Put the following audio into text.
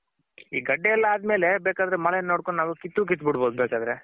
ಈ ಗಡ್ಡೆ ಎಲ್ಲ ಆದ್ಮೇಲೆ ಬೇಕಾದ್ರೆ ಮಳೆ ನೋಡ್ಕೊಂಡ್ ನಾವ್ ಕಿತ್ರು ಕಿತ್ ಬಿಡ್ಬೋದು ಬೇಕಾದ್ರೆ